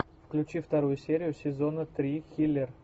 включи вторую серию сезона три хилер